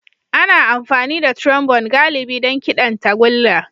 Ana amfani da Trombone galibi don kiɗan tagulla.